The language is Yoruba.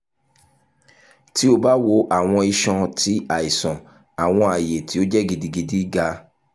ti o ba wo awọn iṣan ti aisan awọn aye ti o jẹ gidigidi ga